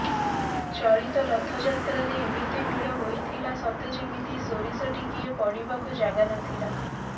ଚଳିତ ରଥଯାତ୍ରାରେ ଏମିତି ଭିଡ଼ ହୋଇଥିଲା ସତେ ଯେମିତି ସୋରିଷ ଟିକିଏ ପଡ଼ିବାକୁ ଜାଗାନଥିଲା